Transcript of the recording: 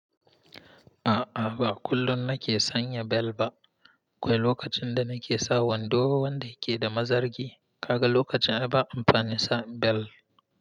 A'a, ba kullum nake sanya bel ba. aKwai lokacin da nake sa wando wanda yake da mazargi. Kaga lokacin ai ba amfanin sa bel.